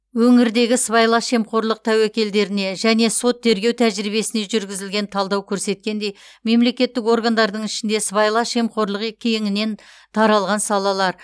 өңірдегі сыбайлас жемқорлық тәуекелдеріне және сот тергеу тәжірибесіне жүргізілген талдау көрсеткендей мемлекеттік органдардың ішінде сыбайлас жемқорлық е кеңінен таралған салалар